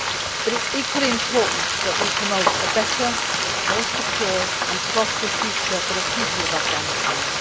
But it is equally important that we promote a better, more secure and prosperous future for the people of Afghanistan.